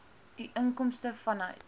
u inkomste vanuit